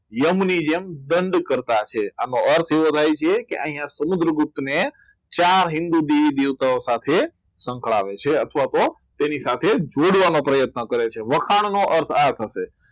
યમુની જેમ દંડિત ભરતા છે આનો અર્થ એ થાય છે કે અહીંયા સમુદ્રગુપ્ત ને ચાર હિન્દુ દેવી દેવતાઓ સાથે સંકળાયેલ છે અથવા તો તેની સાથે જોડવાનો પ્રયત્ન કરે છે વખાણ નો અર્થ આ થશે